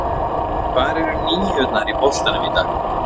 Hvar eru níurnar í boltanum í dag?